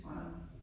Nej